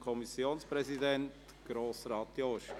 Kommissionspräsident der SAK.